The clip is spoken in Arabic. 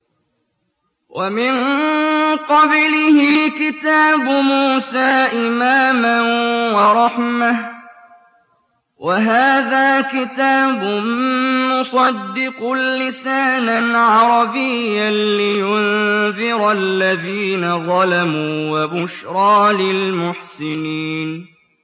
وَمِن قَبْلِهِ كِتَابُ مُوسَىٰ إِمَامًا وَرَحْمَةً ۚ وَهَٰذَا كِتَابٌ مُّصَدِّقٌ لِّسَانًا عَرَبِيًّا لِّيُنذِرَ الَّذِينَ ظَلَمُوا وَبُشْرَىٰ لِلْمُحْسِنِينَ